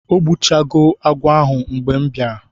o gbu cha go agwo ahu mgbe m bia ra